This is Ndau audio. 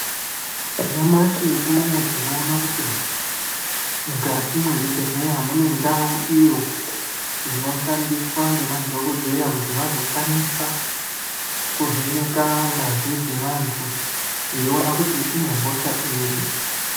Nyamashi unou tinoona kuti mukati mwezvibhedhlera mune ndau iyo inoshandiswa ngemadhokodheya kuti vazokwanisa kuvheneka ngazi dzevantu eiona kuti ine hosha iri.